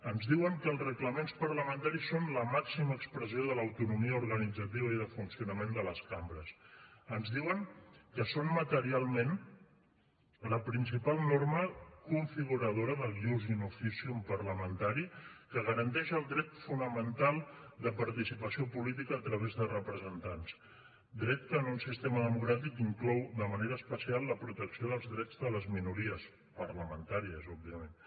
ens diuen que els reglaments parlamentaris són la màxima expressió de l’autonomia organitzativa i de funcionament de les cambres ens diuen que són materialment la principal norma configuradora del ius in officium parlamentari que garanteix el dret fonamental de participació política a través de representants dret que en un sistema democràtic inclou de manera especial la protecció dels drets de les minories parlamentàries òbviament